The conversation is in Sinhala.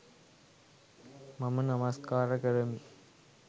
මම නමස්කාර කරමි.